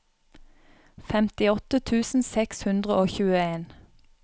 femtiåtte tusen seks hundre og tjueen